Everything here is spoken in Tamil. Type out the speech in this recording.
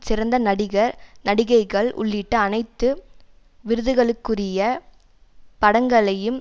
சிறந்த நடிகர் நடிகைகள் உள்ளிட்ட அனைத்து விருதுகளுக்குரிய படங்களையும்